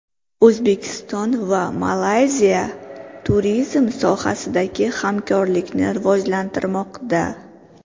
O‘zbekiston va Malayziya turizm sohasidagi hamkorlikni rivojlantirmoqda.